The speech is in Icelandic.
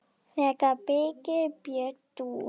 Þegar Birgir Björn dó.